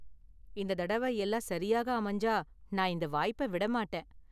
இந்த தடவ எல்லாம் சரியாக அமைஞ்சா, நான் இந்த வாய்ப்பை விட மாட்டேன்.